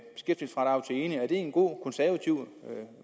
en god konservativ